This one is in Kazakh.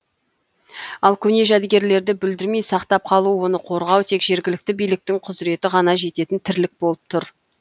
ал көне жәдігерлерді бүлдірмей сақтап қалу оны қорғау тек жергілікті биліктің құзыреті ғана жететін тірлік болып тұр